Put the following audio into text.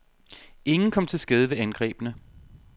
Ingen kom til skade ved angrebene.